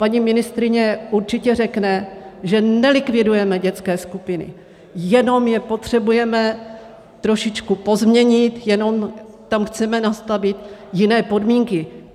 Paní ministryně určitě řekne, že nelikvidujeme dětské skupiny, jenom je potřebujeme trošičku pozměnit, jenom tam chceme nastavit jiné podmínky.